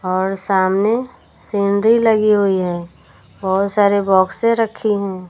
और सामने सीनरी लगी हुई है बहोत सारे बॉक्से रखी हैं।